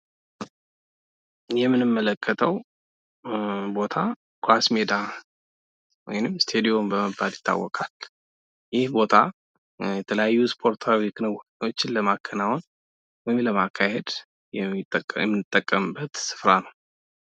ይህ የምንመለከተው ቦታ ኳስ ሜዳ ወይም ስታዲየም በመባል ይታወቃል። ይህ ቦታ የተለያዩ ስፖርታዊ ክንውኖችን ለማከናወን ወይም ለማካሄድ የምንጠቀምበት ስፍራ ነው።